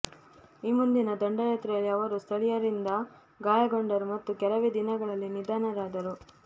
ಈ ಮುಂದಿನ ದಂಡಯಾತ್ರೆಯಲ್ಲಿ ಅವರು ಸ್ಥಳೀಯರಿಂದ ಗಾಯಗೊಂಡರು ಮತ್ತು ಕೆಲವೇ ದಿನಗಳಲ್ಲಿ ನಿಧನರಾದರು